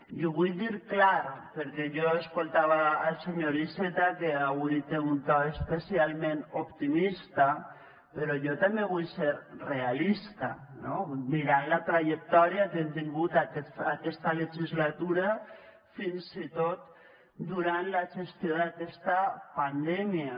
i ho vull dir clar perquè jo escoltava el senyor iceta que avui té un to especialment optimista però jo també vull ser realista no mirant la trajectòria que hem tingut aquesta legislatura fins i tot durant la gestió d’aquesta pandèmia